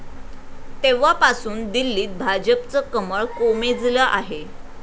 तेव्हापासून दिल्लीत भाजपचं कमळ कोमेजलं आहे.